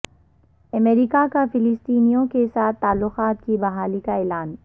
امریکہ کا فلسطینیوں کے ساتھ تعلقات کی بحالی کا اعلان